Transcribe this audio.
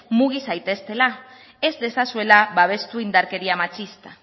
mugi zaiteztela ez dezazuela babestu indarkeria matxista